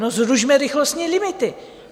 No, zrušme rychlostní limity.